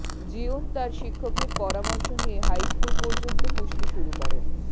Jeon তার শিক্ষকের পরামর্শ নিয়ে হাইস্কুল পর্যন্ত কুস্তি শুরু করেন